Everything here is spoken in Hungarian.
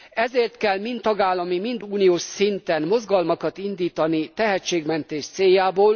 Ezért kell mind tagállami, mind uniós szinten mozgalmakat indítani tehetségmentés céljából.